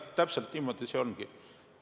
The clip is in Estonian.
Jah, täpselt niimoodi see ongi.